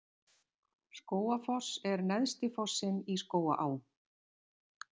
Skógafoss er neðsti fossinn í Skógaá.